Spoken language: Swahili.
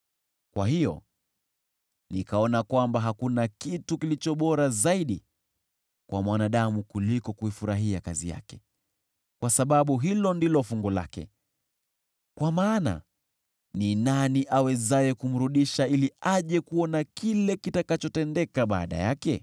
Kwa hiyo nikaona kwamba hakuna kitu kilicho bora zaidi kwa mwanadamu kuliko kuifurahia kazi yake, kwa sababu hilo ndilo fungu lake. Kwa maana ni nani awezaye kumrudisha ili aje kuona kile kitakachotendeka baada yake?